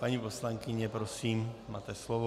Paní poslankyně, prosím, máte slovo.